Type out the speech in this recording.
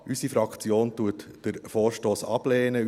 Unsere Fraktion lehnt den Vorstoss ab.